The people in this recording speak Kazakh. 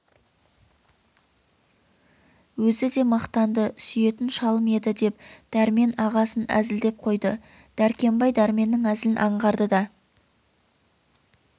өзі де мақтанды сүйетін шалым еді деп дәрмен ағасын әзілдеп қойды дәркембай дәрменнің әзілін аңғарды да